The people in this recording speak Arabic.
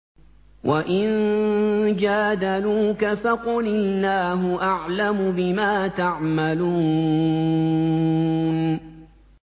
وَإِن جَادَلُوكَ فَقُلِ اللَّهُ أَعْلَمُ بِمَا تَعْمَلُونَ